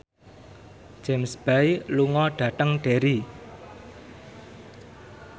James Bay lunga dhateng Derry